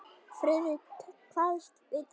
Friðrik kvaðst vita það.